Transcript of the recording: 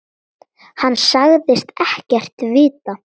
Hann sagðist ekkert vita.